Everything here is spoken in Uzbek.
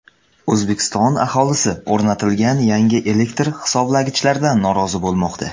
O‘zbekiston aholisi o‘rnatilgan yangi elektr hisoblagichlardan norozi bo‘lmoqda.